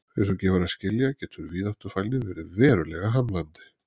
Eins og gefur að skilja getur víðáttufælni verið verulega hamlandi.